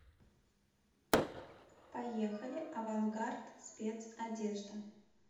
поехали авангард спецодежда